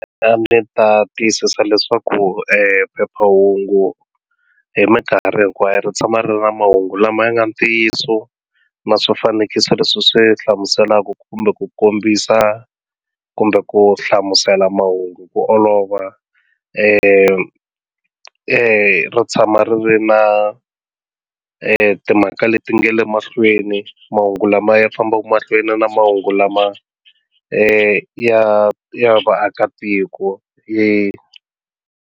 A ni ta tiyisisa leswaku phephahungu hi minkarhi hinkwayo ri tshama ri ri na mahungu lama ya nga ntiyiso na swifanekiso leswi swi hlamuselaka kumbe ku kombisa kumbe ku hlamusela mahungu ku olova ri tshama ri ri na timhaka leti nga le mahlweni mahungu lama ya fambaka mahlweni na mahungu lama ya ya vaakatiko .